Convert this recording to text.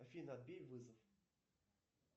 афина отбей вызов